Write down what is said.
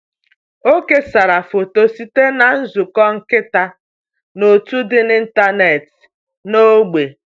Ọ kesara foto site na nzukọ nkịta n’òtù dị n’ịntanetị n’ógbè.